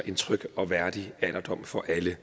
en tryg og værdig alderdom for alle